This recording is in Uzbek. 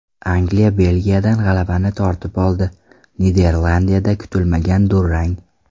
Angliya Belgiyadan g‘alabani tortib oldi, Niderlandiyada kutilmagan durang.